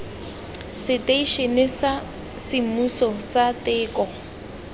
seteišene sa semmuso sa teko